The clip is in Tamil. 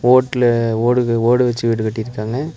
ஓட்டுல ஓடுக ஓடு வெச்சு வீடு கட்டிருக்காங்க.